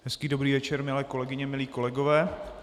Hezký dobrý večer, milé kolegyně, milí kolegové.